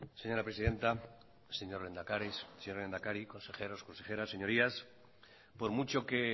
señora presidenta señor lehendakari consejeros consejeras señorías por mucho que